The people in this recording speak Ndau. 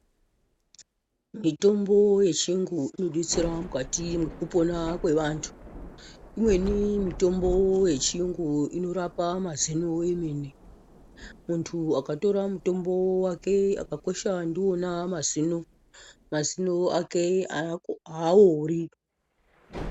Mitombo yechirungu inodetsera mukati mwekupona kwevantu imweni mitombo yechirungu inorapa mazino emene muntu akatora mutombo wake akakwesha ndiwona mazino mazino ake awori.